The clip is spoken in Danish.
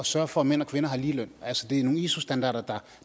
sørge for at mænd og kvinder har ligeløn altså det er nogle iso standarder